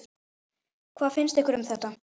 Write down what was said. Hvað finnst ykkur um þetta?